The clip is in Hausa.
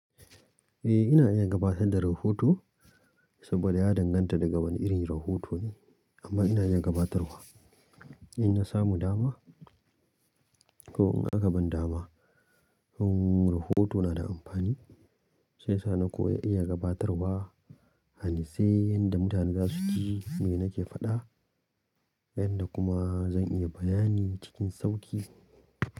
Eh ina iya gabatar da rahoto saboda ya danganta daga wani irin rahoto ne amma ina iya gabatarwa in na samu dama ko in aka bani dama. Yin rahoto na da amfani shiyasa ni ko ya iya gabatarwa, hani sai yanda mutane za su ji me nake faɗa yanda kuma zan iya bayani cikin sauƙi.